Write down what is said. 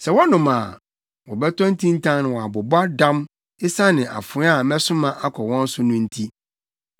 Sɛ wɔnom a, wɔbɛtɔ ntintan na wɔabobɔ dam esiane afoa a mɛsoma akɔ wɔn so no nti.”